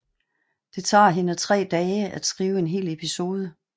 Det tager hende 3 dage at skrive en hel episode